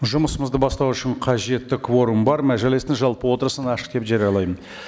жұмысымызды бастау үшін қажетті кворум бар мәжілістің жалпы отырысын ашық деп жариялаймын